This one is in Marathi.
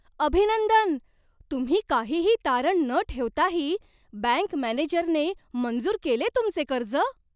अभिनंदन! तुम्ही काहीही तारण न ठेवताही बँक मॅनेजरने मंजूर केले तुमचे कर्ज?